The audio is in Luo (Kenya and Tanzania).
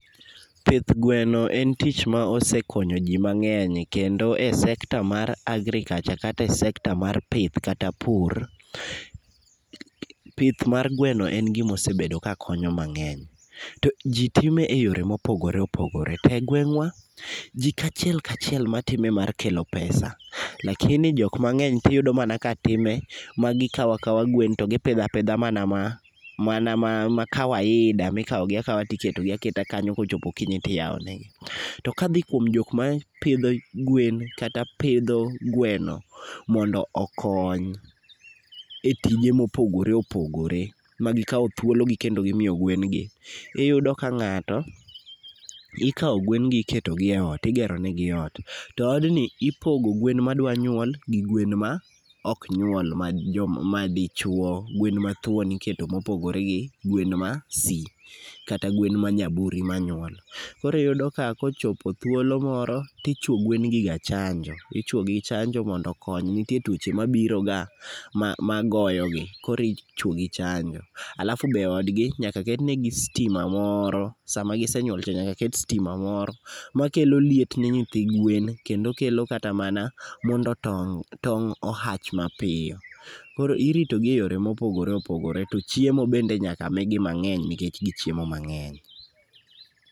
Pith gweno en tich ma osekonyo ji mang'eny kendo e sekta mar agriculture kata e sekta mar pith kata pur, pith mar gweno en gimosebedo kakonyo mang'eny. To ji time e yore mopogore opogore, to e gweng'wa, ji kachiel kachiel matime mar kelo pesa, lakini jokmang'eny tiyudo mana katime magikawo akawa gwen to gipidho apidha mana ma mana ma kawaida mikawogi akawa tiketogi aketa kanyo kochopo okinyi tiyawonegi. To kadhi kuom joma pidho gwen kata pidho gweno mondo okony e tije mopogore opogore magikawo thuologi kando gimiyo gwengi, iyudo ka ng'ato ikawo gwengi iketo gi e ot igeronegi ot to odni ipogo gwen madwa nyuol gi gwen ma ok nyuol gwen madichuo gwen mathuon iketo mopogore gi gwen ma si kata gwen ma nyaburi manyuol. Koro iyudo ka kochopo thuolo moro tichuo gwengi ga chanjo, ichwo gi chanjo mondo okony nitie tuoche mabiroga magoyogi koro ichwogi chanjo. Alafu be odgi nyaka ketnegi stima moro, sama gisenyuol to nyaka ket stima moro makelo liet ni nyithi gwen kendo kelo kata mana mondo tong' o hatch mapiyo. Koro iritogi e yore mopogore opogore to chiemo bende nyaka migi mang'eny nikech gichiemo mang'eny.